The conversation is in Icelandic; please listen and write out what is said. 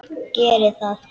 Geri það!